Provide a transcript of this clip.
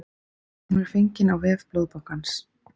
Hún er fengin á vef blóðbankans